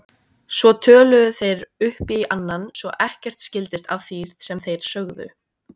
Svo töluðu þeir hver upp í annan svo ekkert skildist af því sem þeir sögðu.